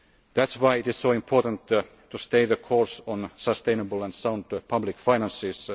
either. That is why it is so important to stay the course on sustainable and sound public